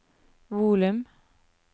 volum